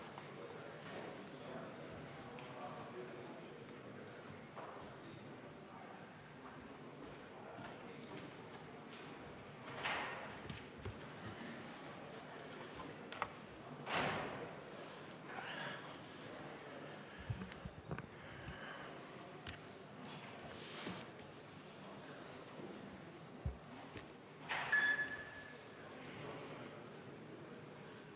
Kohaloleku kontroll